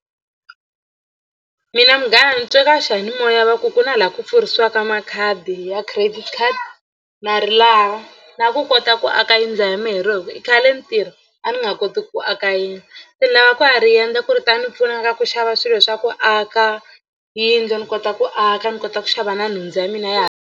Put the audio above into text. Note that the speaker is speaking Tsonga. Mina munghana ni twe ka xiyanimoya va ku ku na laha ku pfurisiwaka makhadi ya credit card na ri lava la ku kota ku aka yindlu mina hi roho hi ku i khale ni tirha a ni nga koti ku aka yindlu se ni lava ku ya ri endla ku ri ta ni pfuna ka ku xava swilo swa ku aka yindlu ni kota ku aka ni kota ku xava na nhundzu ya mina ya.